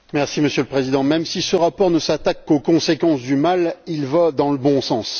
Monsieur le Président, même si ce rapport ne s'attaque qu'aux conséquences du mal, il va dans le bon sens.